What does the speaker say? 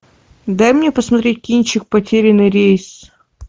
дай мне посмотреть кинчик потерянный рейс